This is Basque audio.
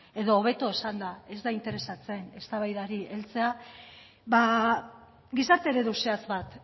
edo hobeto esanda ez da interesatzen eztabaidari heltzea gizarte eredu zehatz bat